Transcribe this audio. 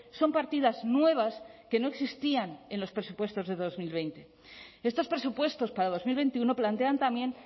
son partidas nuevas que no existían en los presupuestos de dos mil veinte estos presupuestos para dos mil veintiuno plantean también